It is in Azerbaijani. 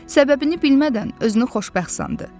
Səbəbini bilmədən özünü xoşbəxt sandı.